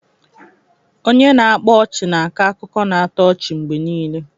Onye na-akpa ọchị na-ako akụkọ na-atọ ọchị mgbe niile.